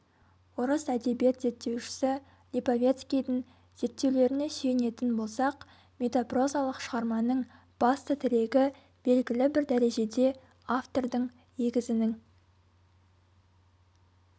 орыс әдебиет зерттеушісі липовецкийдің зерттеулеріне сүйенетін болсақ метапрозалық шығарманың басты тірегі белгілі бір дәрежеде автордың егізінің